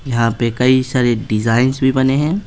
यहां पे कई सारे डिजाइंस भी बने हैं।